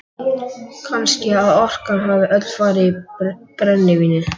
Kannski að orkan hafi öll farið í brennivínið.